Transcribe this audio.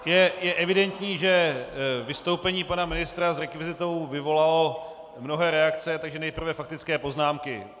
Je evidentní, že vystoupení pana ministra s rekvizitou vyvolalo mnohé reakce, takže nejprve faktické poznámky.